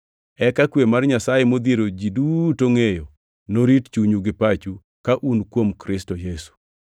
Eka kwe mar Nyasaye modhiero ji duto ngʼeyo norit chunyu gi pachu ka un kuom Kristo Yesu.